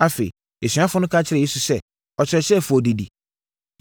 Afei, asuafoɔ no ka kyerɛɛ Yesu sɛ, “Ɔkyerɛkyerɛfoɔ, didi.”